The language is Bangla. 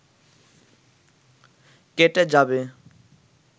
কেটে যাবে